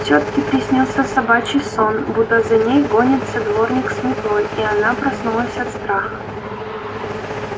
тётке приснился собачий сон будто за ней гонится дворник с метлой и она проснулась от страха